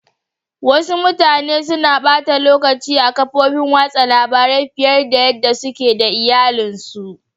Wassu mutane na bata lokaci a'kafofin wasan labaru fiyar da yada suke da iyallin su.